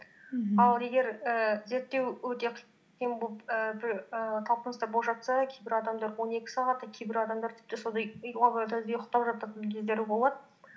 мхм ал егер і зерттеу өте талпыныстар олып жатса кейбір адамдар он екі сағат та кейбір адамдар тіпті і лабораторияда ұйықтап жататын кездері болады